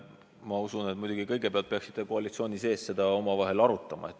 Ma usun, et kõigepealt peaksite seda, mis see soov on, koalitsiooni sees omavahel arutama.